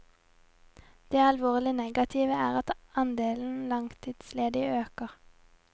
Det alvorlig negative er at andelen langtidsledige øker.